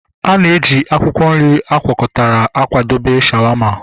Ana eji akwụkwọ nri agwakọtara akwadebe shawaama